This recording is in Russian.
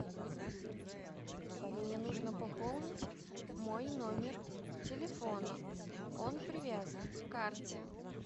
мне нужно пополнить мой номер телефона он привязан к карте